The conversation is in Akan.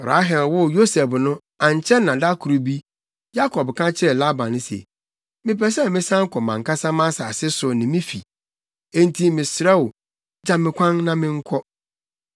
Rahel woo Yosef no, ankyɛ na da koro bi, Yakob ka kyerɛɛ Laban se, “Mepɛ sɛ mesan kɔ mʼankasa mʼasase so ne me fi, enti mesrɛ wo, gya me kwan na menkɔ.